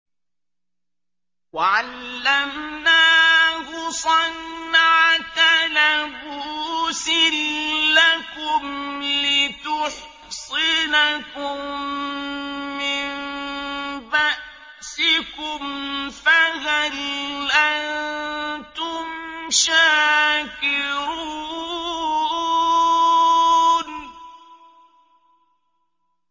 وَعَلَّمْنَاهُ صَنْعَةَ لَبُوسٍ لَّكُمْ لِتُحْصِنَكُم مِّن بَأْسِكُمْ ۖ فَهَلْ أَنتُمْ شَاكِرُونَ